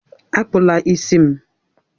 Akpụla ntutu isi m!